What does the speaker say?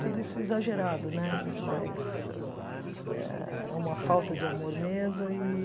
Tudo isso é exagerado, né, mas ah é uma falta de amor mesmo e